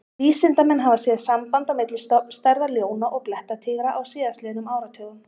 Vísindamenn hafa séð samband á milli stofnstærða ljóna og blettatígra á síðastliðnum áratugum.